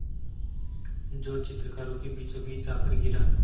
जो चित्रकारों के बीचोंबीच आकर गिरा